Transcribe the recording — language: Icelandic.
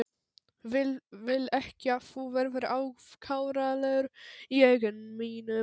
Vil ekki að þú verðir afkáralegur í augum mínum.